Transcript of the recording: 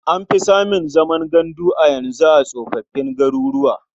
An fi samun zaman gandu a yanzu a tsofoffin garuruwa.